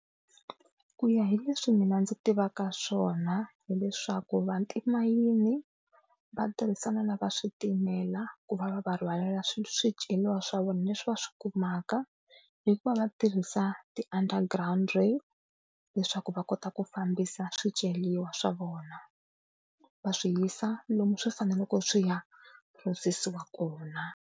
Ku ya hi leswi mina ndzi tivaka swona hileswaku va timayini va tirhisana na va switimela ku va va va rhwalela swiceriwa swa vona leswi va swi kumaka, hikuva va tirhisa ti-underground rail leswaku va kota ku fambisa swiceriwa swa vona va swi yisa lomu swi faneleke swi ya phurosesiwa kona.